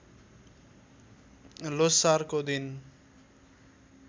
ल्होसारको दिन